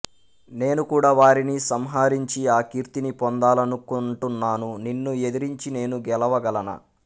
నేనుకూడా వారిని సంహరించి ఆ కీర్తిని పొందాలనుకుంటున్నాను నిన్ను ఎదిరించి నేను గెలువగలనా